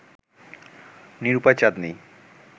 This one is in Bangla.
নিরূপায় চাঁদনী